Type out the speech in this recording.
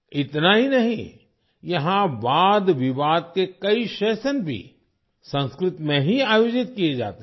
इतना ही नहीं यहाँ वाद विवाद के कई सेशन भी संस्कृत में ही आयोजित किए जाते हैं